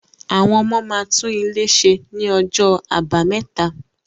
Àwọn ọmọ máa tún ilé ṣe ní ọjọ́ Àbámẹta.